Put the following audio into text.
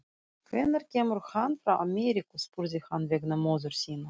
Hvenær kemur hann frá Ameríku, spurði hann vegna móður sinnar.